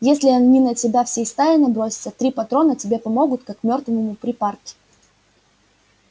если они на тебя всей стаей набросятся три патрона тебе помогут как мёртвому припарки